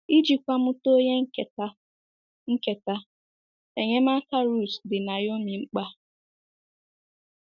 Ijikwa mụta onye nketa, nketa, enyemaka Ruth dị Naomi mkpa.